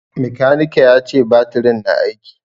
Makanike ya ce batirin na aiki.